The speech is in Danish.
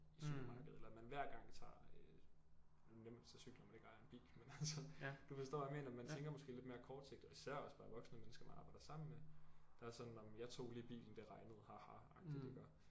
I supermarkedet eller man hver gang tager øh nu er det nemt at cykle når man ikke ejer en bil men altså du forstår hvad jeg mener man tænker måske lidt mere kortsigtet især også bare voksne mennesker man arbejder sammen med der er sådan nåh men jeg tog lige bilen det regnede ha ha agtigt iggå